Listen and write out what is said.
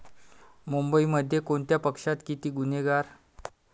मुंबईमध्ये कोणत्या पक्षात किती गुन्हेगार?